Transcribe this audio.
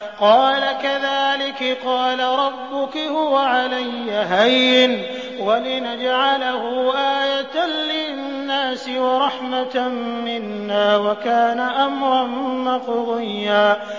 قَالَ كَذَٰلِكِ قَالَ رَبُّكِ هُوَ عَلَيَّ هَيِّنٌ ۖ وَلِنَجْعَلَهُ آيَةً لِّلنَّاسِ وَرَحْمَةً مِّنَّا ۚ وَكَانَ أَمْرًا مَّقْضِيًّا